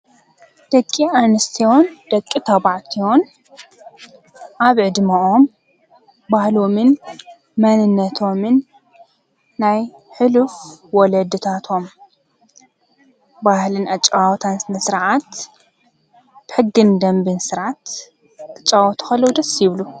ደቂ ኣንስትዮን ደቂ ተባዕትዮን ኣብ ዕድመኦም ባህሎምን መንነቶምን ናይ ሕሉፍ ወለድታቶም ባህልን ኣጨዋውታን ስርዓት፣ ሕግን ደንብን ስርዓት ክጫወቱ ከለዉ ደስ ይብሉ፡፡